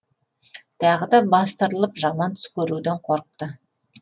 тағы да бастырылып жаман түс көруден қорықты